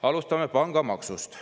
Alustame pangamaksust.